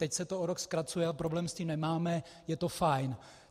Teď se to o rok zkracuje a problém s tím nemáme, je to fajn.